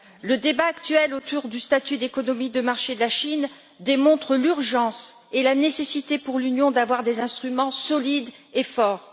Le débat actuel autour du statut d'économie de marché de la Chine démontre l'urgence et la nécessité pour l'Union d'avoir des instruments solides et forts.